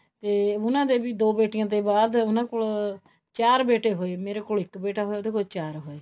ਤੇ ਉਹਨਾ ਦੇ ਵੀ ਦੋ ਬੇਟੀਆਂ ਦੇ ਬਾਅਦ ਉਹਨਾ ਕੋਲ ਚਾਰ ਬੇਟੇ ਹੋਏ ਮੇਰੇ ਕੋਲ ਇੱਕ ਬੇਟਾ ਹੋਇਆ ਉਹਦੇ ਕੋਲ ਚਾਰ ਹੋਏ